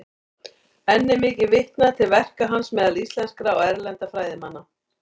Enn er mikið vitnað til verka hans meðal íslenskra og erlendra fræðimanna.